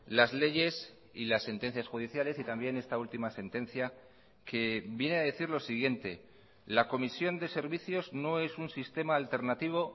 las leyes y las sentencias judiciales y también esta última sentencia que viene a decir lo siguiente la comisión de servicios no es un sistema alternativo